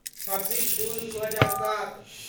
छब्बीस जून दू हजार सात